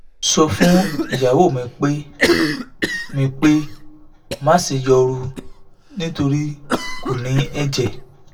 sọ fun iyawo mi pe mi pe maṣe yọru nitori ko ni ẹjẹ